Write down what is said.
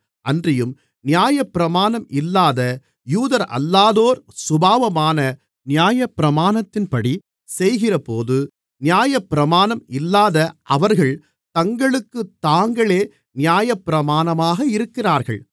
அன்றியும் நியாயப்பிரமாணம் இல்லாத யூதரல்லாதோர் சுபாவமாக நியாயப்பிரமாணத்தின்படி செய்கிறபோது நியாயப்பிரமாணம் இல்லாத அவர்கள் தங்களுக்குத் தாங்களே நியாயப்பிரமாணமாக இருக்கிறார்கள்